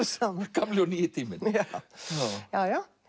gamli og nýi tíminn já